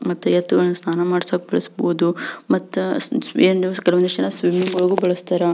ಮತ್ತೆ ಎತ್ತುಗಳನ್ನಸ್ನಾನ ಮಾಡೋಕ್ ಬಳಸಬಹುದು ಮತ್ತ ಸ್ವೀಮಿಂಗ್ಗಳಿಗೂ ಬಳಸ್ಥರ.